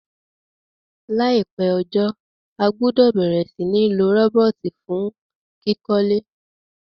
Láìpé ojó, a gbúdò bẹ̀rẹ̀ si ni lo robot fun kíkólé